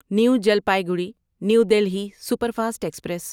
new Jalpaiguri new Delhi superfast express